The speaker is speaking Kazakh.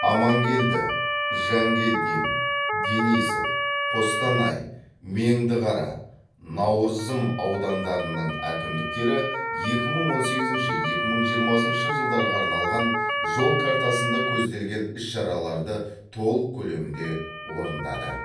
амангелді жангелдин денисов қостанай меңдіқара науырзым аудандарының әкімдіктері екі мың он сегізінші екі мың жиырмасыншы жылдарға арналған жол картасында көзделген іс шараларды толық көлемде орындады